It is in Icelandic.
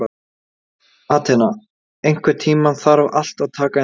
Atena, einhvern tímann þarf allt að taka enda.